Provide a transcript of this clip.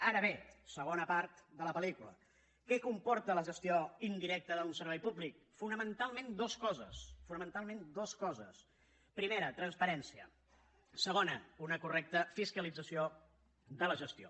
ara bé segona part de la pel·lícula què comporta la gestió indirecta d’un servei públic fonamentalment dues coses fonamentalment dues coses primera transparència segona una correcta fiscalització de la gestió